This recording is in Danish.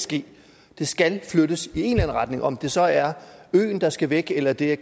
ske det skal flyttes i en retning om det så er øen der skal væk eller det er